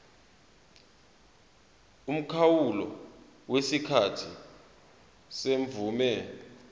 umkhawulo wesikhathi semvume